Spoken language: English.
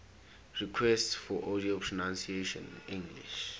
requests for audio pronunciation english